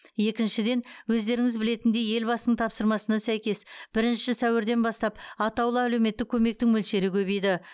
екіншіден өздеріңіз білетіндей елбасының тапсырмасына сәйкес бірінші сәуірден бастап атаулы әлеуметтік көмектің мөлшері көбейді